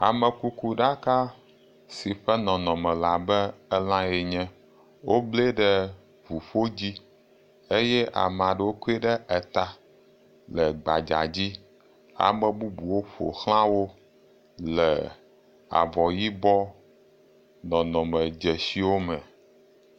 Amekukuɖaka si ƒe nɔnɔme le abe elãe ene, woblee ɖe ŋuƒo dzi eye ame aɖewo kɔe ɖe eta le gbadza dzi, ame bubuwo ƒo xla wo le avɔ yibɔ nɔnɔme dzesiwo me.